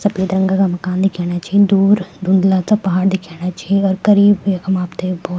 सफ़ेद रंगा का मकान दिखेणा छिन दूर धुन्दला सा पहाड़ दिखेणा छि अर करीब यखम आपथे बहौत --